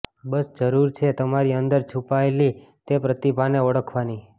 બસ જરૂર છે તમારી અંદર છુપાયેલી તે પ્રતિભાને ઓળખવાની